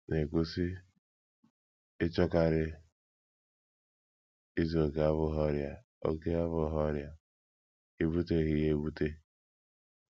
na - ekwu, sị: “ Ịchọkarị izu okè abụghị ọrịa okè abụghị ọrịa; i buteghị ya ebute.